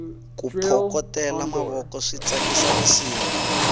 ku phokotela mavoko swi tsakisa risimu